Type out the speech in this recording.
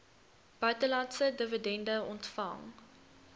buitelandse dividende ontvang